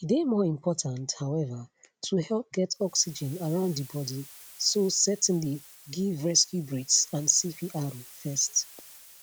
e dey more important however to help get oxygen around di body so certainly give rescue breaths and cpr first